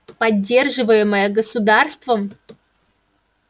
поддерживаемое государством